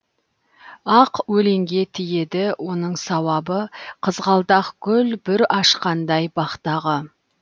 ақ өлеңге тиеді оның сауабы қызғалдақ гүл бүр ашқандай бақтағы